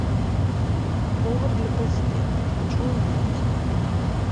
повар для президента хочу увидеть